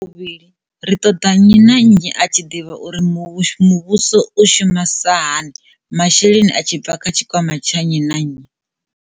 Tsha vhuvhili, ri ṱoḓa nnyi na nnyi a tshi ḓivha uri muvhuso u shumi sa hani masheleni a tshi bva kha tshikwama tsha nnyi na nnyi.